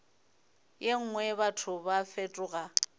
ye nngwe batho ba fetoga